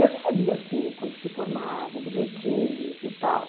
Eu recebia sim, quando se formavam, bilhetinhos e tal.